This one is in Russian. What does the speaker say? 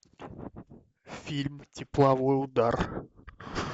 фильм тепловой удар